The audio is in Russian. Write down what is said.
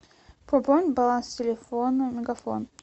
пополнить баланс телефона мегафон